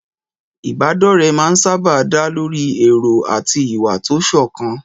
Ìbádọ́rẹ̀ẹ́ máa ń sáábà dá lórí èrò àti ìwà tó sọ̀kan.